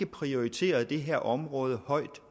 prioriteret det her område højt